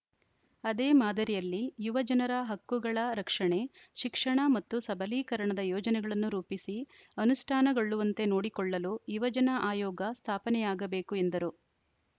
ಅದೇ ಮಾದರಿಯಲ್ಲಿ ಯುವಜನರ ಹಕ್ಕುಗಳ ರಕ್ಷಣೆ ಶಿಕ್ಷಣ ಮತ್ತು ಸಬಲೀಕರಣದ ಯೋಜನೆಗಳನ್ನು ರೂಪಿಸಿ ಅನುಷ್ಠಾನಗೊಳ್ಳುವಂತೆ ನೋಡಿಕೊಳ್ಳಲು ಯುವಜನ ಆಯೋಗ ಸ್ಥಾಪನೆಯಾಗಬೇಕು ಎಂದರು